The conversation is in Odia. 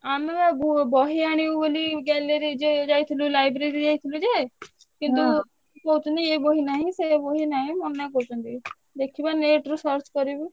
ଆମେବା ବହି ଆଣିବୁ ବୋଲି gallery ଯାଏ ଯାଇଥିଲୁ library ଯାଇଥିଲୁ ଯେ କିନ୍ତୁ କହୁଛନ୍ତି ଏ ବହି ନାହିଁ ସେ ବହି ନାହିଁ ମନା କରୁଛନ୍ତି। ଦେଖିବା net ରୁ search କରିବୁ।